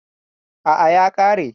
Aa, ya kare